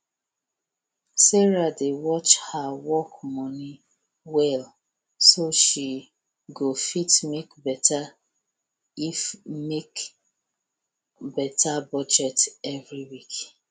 sarah dey watch her work moni well so she go fit make beta fit make beta budget every week